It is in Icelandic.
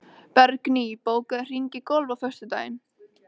Bergný, bókaðu hring í golf á föstudaginn.